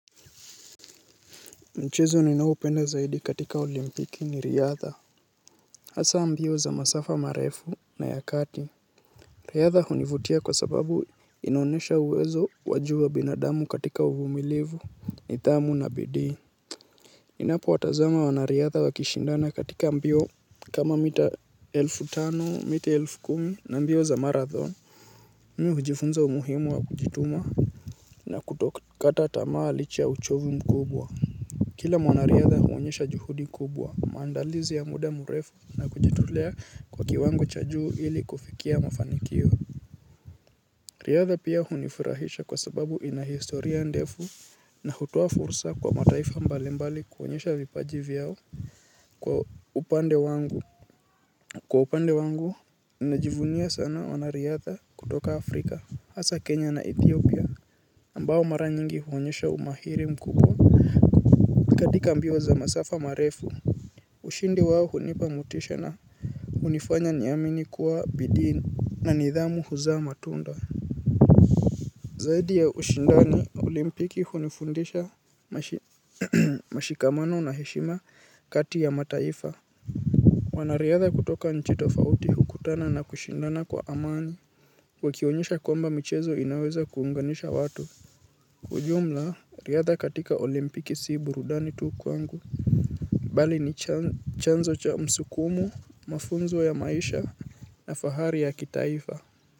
Mchezo ninaopenda zaidi katika olimpiki ni riadha. Hasa mbio za masafa marefu na ya kati. Riadha hunivutia kwa sababu inaonesha uwezo wa juu wa binadamu katika uvumilivu nidhamu na bidii ninapowatazama wanariadha wakishindana katika mbio kama mita elfu tano, mita elfu kumi na mbio za marathoni. Mimi hujifunza umuhimu wa kujituma na kutokata tamaa licha ya uchovu mkubwa. Kila mwanariadha huonyesha juhudi kubwa maandalizi ya muda mrefu na kujitolea kwa kiwango cha juu ili kufikia mafanikio. Riadha pia hunifurahisha kwa sababu ina historia ndefu na hutoa fursa kwa mataifa mbalimbali kuonyesha vipaji vyao kwa upande wangu kwa upande wangu, najivunia sana mwanariadha kutoka afrika, hasa Kenya na Ethiopia ambao mara nyingi huonyesha umahiri mkubwa katika mbio za masafa marefu. Ushindi wao hunipa motisha na hunifanya niamini kuwa bidii na nidhamu huzaa matunda. Zaidi ya ushindani, olimpiki hunifundisha mshikamano na heshima kati ya mataifa. Wanariadha kutoka nchi tofauti hukutana na kushindana kwa amani. Wakionyesha kwamba michezo inaweza kuunganisha watu. Kiujumla, riadha katika olimpiki si burudani tu kwangu. Bali ni chanzo cha msukumo, mafunzo ya maisha na fahari ya kitaifa.